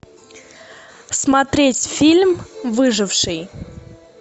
смотреть фильм выживший